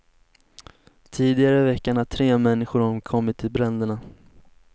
Tidigare i veckan har tre människor omkommit i bränderna.